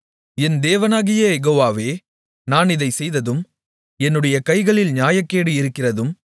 என் தேவனாகிய யெகோவாவே நான் இதைச் செய்ததும் என்னுடைய கைகளில் நியாயக்கேடு இருக்கிறதும்